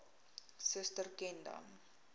suster ken dan